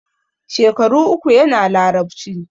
Shekaru uku yana Larabci.